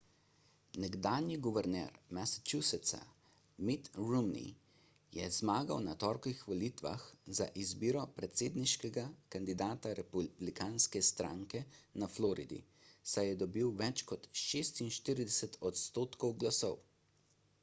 nekdanji guverner massachusettsa mitt romney je zmagal na torkovih volitvah za izbiro predsedniškega kandidata republikanske stranke na floridi saj je dobil več kot 46 odstotkov glasov